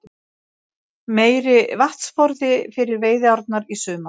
Meiri vatnsforði fyrir veiðiárnar í sumar